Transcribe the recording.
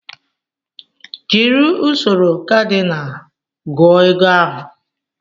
Jiri usoro kadinal gụọ ego ahụ